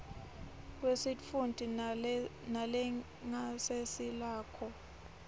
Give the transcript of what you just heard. kwesitfunti nelingasese lakho